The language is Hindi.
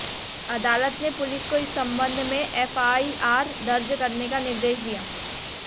अदालत ने पुलिस को इस संबंध में एफआईआर दर्ज करने का निर्देश दिया